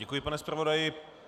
Děkuji, pane zpravodaji.